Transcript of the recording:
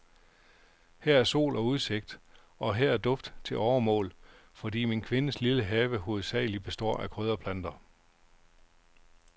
Her er sol og udsigt, og her er duft til overmål, fordi min kvindes lille have hovedsagelig består af krydderplanter.